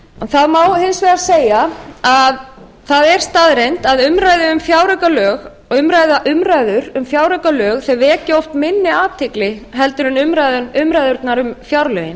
það má hins vegar segja að það er staðreynd að umræður um fjáraukalög vekja oft minni athygli heldur en umræðurnar um fjárlögin